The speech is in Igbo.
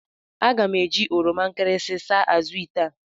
Aga m eji oroma nkịrịsị saa azụ̀ ite a.